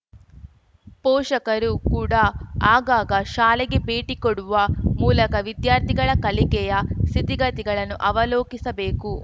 ಪೋಷಕರು ಕೂಡ ಆಗಾಗ ಶಾಲೆಗೆ ಭೇಟಿ ಕೊಡುವ ಮೂಲಕ ವಿದ್ಯಾರ್ಥಿಗಳ ಕಲಿಕೆಯ ಸ್ಥಿತಿಗತಿಗಳನ್ನು ಅವಲೋಕಿಸಬೇಕು